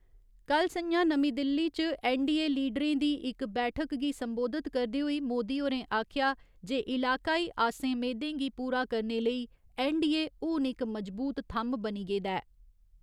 कल्ल सं'ञा नमीं दिल्ली च ऐन्नडीए लीडरें दी इक बैठक गी संबोधित करदे होई मोदी होरें आखेआ जे इलाकाई आसें मेदें गी पूरा करने लेई ऐन्नडीए हुन इक मजबूत थम्म बनी गेदा ऐ।